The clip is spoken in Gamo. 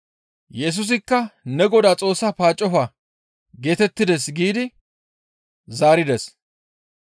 Yesusikka, «Ne Godaa Xoossaa paaccofa» geetettides giidi zaarides.